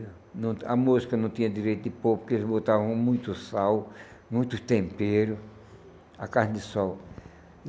Não A mosca não tinha direito de pôr, porque eles botavam muito sal, muito tempero, a carne de sol.